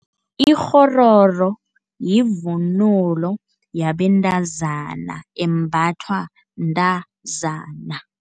Ikghororo yivunulo yabentazana, embathwa mntazana.